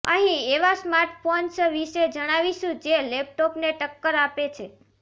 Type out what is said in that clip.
અહીં એવા સ્માર્ટફોન્સ વિશે જણાવીશું જે લેપટોપને ટક્કર આપે છે